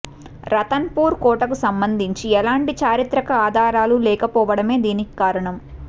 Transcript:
Ratan poor కోటకు సంబంధించి ఎలాంటి చారిత్రక ఆధారాలు లేకపోవడమే దీనికి కారణం